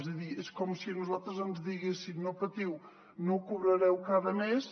és a dir és com si a nosaltres ens diguessin no patiu no cobrareu cada mes